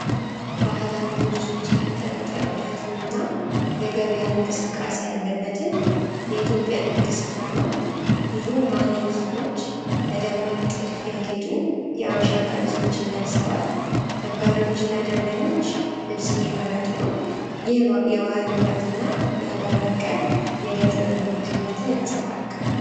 ባህላዊ ልብሶች የተንጠለጠሉበትንና የገበያ እንቅስቃሴ ያለበትን የኢትዮጵያ ንግድ ሥፍራ ነው። ብዙ ማኔኪኖች በደማቅ ጥልፍ ያጌጡ የሐበሻ ቀሚሶችን ለብሰዋል። ነጋዴዎችና ደንበኞች ልብስ እየመርጡ ነው። ይህ የባህል ውበትና የአገር በቀል የእደ ጥበብ ንግድ ሕይወትን ያንጸባርቃል።